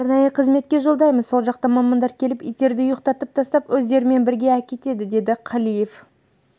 арнайы қызметке жолдаймыз сол жақтан мамандар келіп иттерді ұйықтатып тастап өздерімен бірге әкетеді деді қалиев